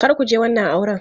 Kar ku je wannan auren!